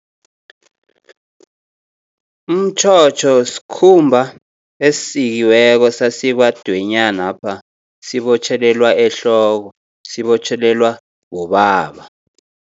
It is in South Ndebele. Umtjhotjho skhumba esisikiweko sasikwa dwenyanapha, sibotjhelelwa ehloko, sibotjhelelwa bobaba.